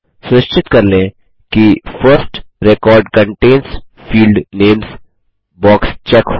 सुनिश्चित कर लें कि first record contains field names box check हो